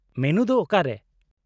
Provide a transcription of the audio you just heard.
-Menu ᱫᱚ ᱚᱠᱟᱨᱮ ?